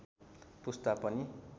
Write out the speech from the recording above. पुस्ता पनि